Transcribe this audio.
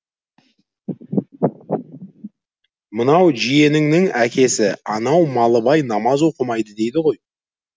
мынау жиеніңнің әкесі анау малыбай намаз оқымайды дейді ғой